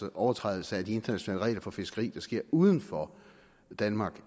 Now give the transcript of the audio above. at overtrædelse af de internationale regler for fiskeri der sker uden for danmark